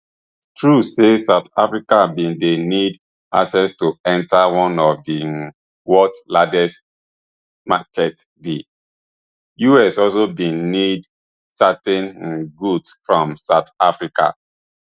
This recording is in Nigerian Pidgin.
true say south africa bin dey need access to enta one of di um worlds largest marketsdi us also bin need certain um goods from south africa